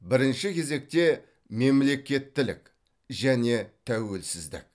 бірінші кезекте мемлекеттілік және тәуелсіздік